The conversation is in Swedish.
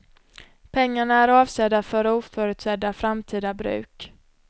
Pengarna är avsedda för oförutsedda framtida bruk.